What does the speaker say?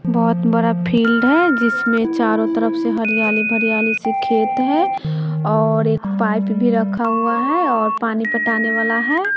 बहोत बड़ा फील्ड है जिसमें चारों तरफ से हरियाली भरियाली से खेत है और एक पाइप भी रखा हुआ है और पानी पटाने वाला है।